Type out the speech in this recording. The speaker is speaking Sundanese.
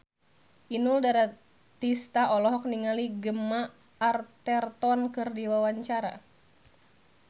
Inul Daratista olohok ningali Gemma Arterton keur diwawancara